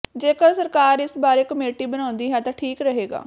ਜੇਕਰ ਸਰਕਾਰ ਇਸ ਬਾਰੇ ਕਮੇਟੀ ਬਣਾਉਂਦੀ ਹੈ ਤਾਂ ਠੀਕ ਰਹੇਗਾ